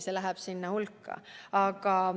See läheb samamoodi sinna hulka.